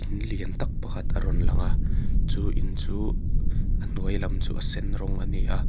in lian tâk pakhat a rawn langa chu in chu a hnuai lam chu a sen rawng ani a.